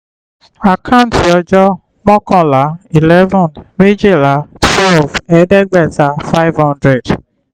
àkántì ọjọ́: mọ́kànlá eleven méjìlá twelve ẹ̀ẹ́dẹ́gbẹ̀ta five hundred